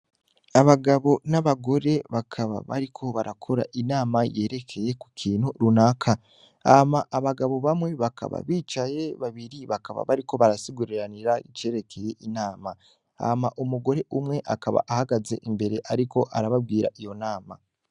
Abagabo n'abagore bakaba bariko barakora inama yerekeye ku kintu runaka ama abagabo bamwe bakaba bicaye babiri bakaba bariko barasigururanira icerekeye inama hama umugore umwe akaba ahagaze imbere, ariko arababwira iyo nama.